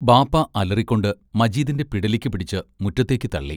ബാപ്പാ അലറിക്കൊണ്ട് മജീദിന്റെ പിടലിക്ക് പിടിച്ച് മുറ്റത്തേക്ക് തള്ളി.